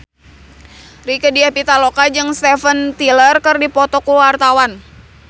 Rieke Diah Pitaloka jeung Steven Tyler keur dipoto ku wartawan